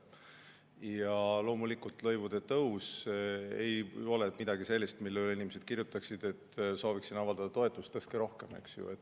Ja loomulikult lõivude tõus ei ole midagi sellist, mille puhul inimesed kirjutaksid, et sooviksin avaldada toetust, tõstetagu rohkem, eks ju.